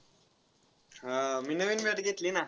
हा, मी नवीन bat घेतली ना.